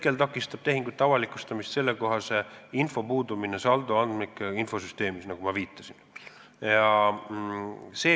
" Praegu takistab tehingute avalikustamist sellekohase info puudumine saldoandmike infosüsteemis, nagu ma viitasin.